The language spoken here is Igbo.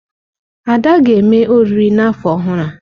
Ada ga-eme oriri n'afọ ọhụrụ a.